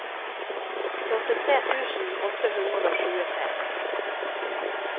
førtitre tusen åtte hundre og tjuetre